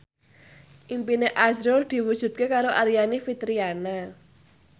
impine azrul diwujudke karo Aryani Fitriana